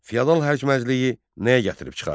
Feodal həşməcliği nəyə gətirib çıxardı?